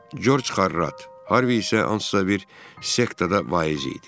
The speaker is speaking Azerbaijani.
Corc Xarrat, Harvi isə hansısa bir sekta da vaiz idi.